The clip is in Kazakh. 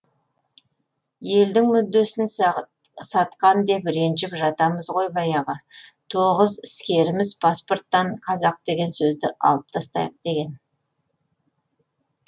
елдің мүддесін сатқан деп ренжіп жатамыз ғой баяғы тоғыз іскеріміз паспорттан қазақ деген сөзді алып тастайық деген